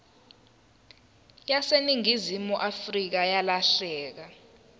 yaseningizimu afrika yalahleka